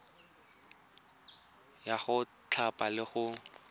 ya go thapa le go